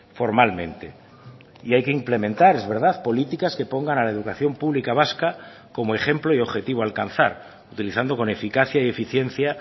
formalmente y hay que implementar es verdad políticas que pongan a la educación pública vasca como ejemplo y objetivo a alcanzar utilizando con eficacia y eficiencia